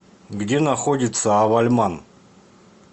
где находится авальман